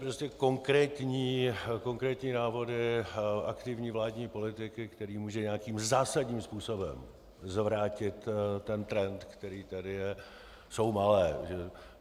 Prostě konkrétní návody aktivní vládní politiky, které mohou nějakým zásadním způsobem zvrátit ten trend, který tady je, jsou malé.